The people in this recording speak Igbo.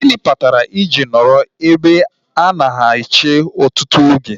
Gịnị kpatara I ji nọrọ ebe a na-eche ọtụtụ oge?